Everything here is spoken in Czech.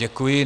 Děkuji.